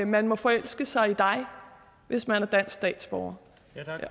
man må forelske sig i dig hvis man er dansk statsborger